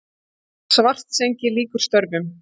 Svartsengi lýkur störfum.